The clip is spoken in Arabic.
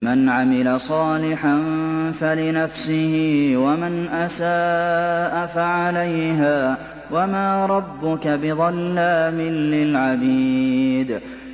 مَّنْ عَمِلَ صَالِحًا فَلِنَفْسِهِ ۖ وَمَنْ أَسَاءَ فَعَلَيْهَا ۗ وَمَا رَبُّكَ بِظَلَّامٍ لِّلْعَبِيدِ